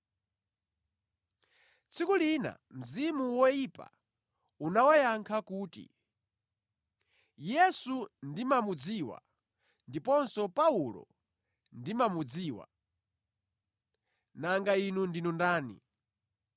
Tsiku lina mzimu woyipa unawayankha kuti, “Yesu ndimamudziwa ndiponso Paulo ndimamudziwa, nanga inu ndinu ndani?”